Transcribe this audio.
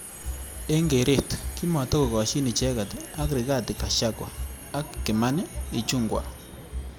Eng keret kimatakokoshin icheket ak Righathi gachagua ak Kmani ichungwa.